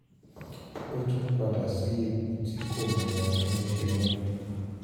ó tún padà sí ipò tí kò mọ ohun tó ń ṣe mọ́